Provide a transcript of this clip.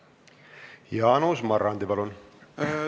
Jaanus Marrandi, palun!